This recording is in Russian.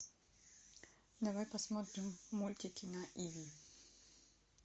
давай посмотрим мультики на иви